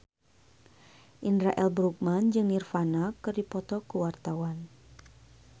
Indra L. Bruggman jeung Nirvana keur dipoto ku wartawan